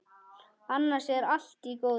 Annars er allt í góðu.